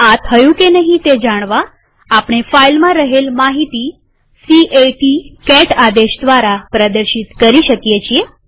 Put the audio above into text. આ થયું કે નહિ તે જાણવા આપણે ફાઈલમાં રહેલ માહિતી c a ટી આદેશ દ્વારા પ્રદર્શિત કરી શકીએ